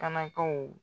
Kanakaw